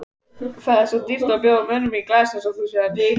Það er því dýrt að bjóða mönnum í glas eins og þú sérð.